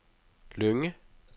Lynge